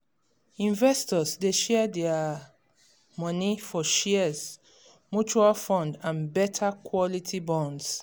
investors dey share dia um money for shares mutual fund and better quality bonds